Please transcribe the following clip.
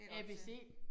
ABC